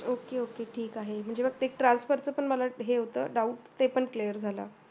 ok ok ठीक आहे ते transfer च मला एक हे होतं doubt ते पण clear झालं.